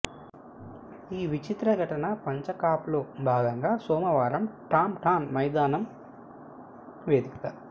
ఈ విచిత్ర ఘటన పంచకప్లో భాగంగా సోమవారం టాంటాన్ మైదానం వేదికగా